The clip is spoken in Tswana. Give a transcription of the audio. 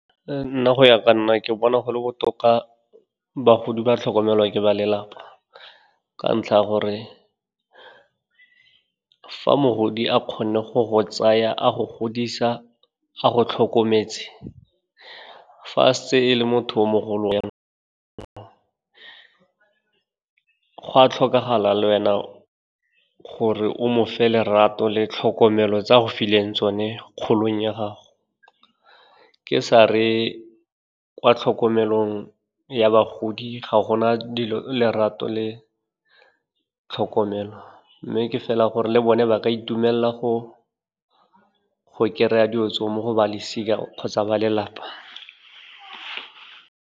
Nna go ya ka nna, ke bona go le botoka bagodi ba tlhokomelwa ke ba lelapa, ka ntlha ya gore, fa mogodi a kgonne go go tsaya a go godisa, a go tlhokometse, fa a setse e le motho o mogolo jalo, gwa tlhokagala le wena gore o mo fe lerato le tlhokomelo tsa go fileng tsone kgolong ya gago, ke sa re kwa tlhokomelong ya bagodi ga go na lerato le tlhokomelo, mme ke fela gore le bone ba ka itumelela go kry-a dilo tseo mo go ba losika kgotsa ba lelapa.